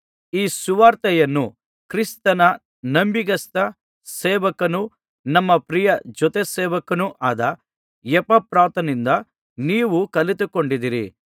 ಈ ಸುವಾರ್ತೆಯನ್ನು ಕ್ರಿಸ್ತನ ನಂಬಿಗಸ್ತ ಸೇವಕನೂ ನಮ್ಮ ಪ್ರಿಯ ಜೊತೆಸೇವಕನೂ ಆದ ಎಪಫ್ರನಿಂದ ನೀವು ಕಲಿತುಕೊಂಡಿದ್ದೀರಿ